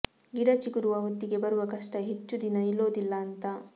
ಗಿಡ ಚಿಗುರುವ ಹೊತ್ತಿಗೆ ಬರುವ ಕಷ್ಟ ಹೆಚ್ಚು ದಿನ ನಿಲ್ಲೋದಿಲ್ಲ ಅಂತ